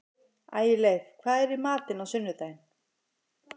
Ægileif, hvað er í matinn á sunnudaginn?